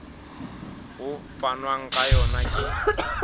ho fanwang ka yona ke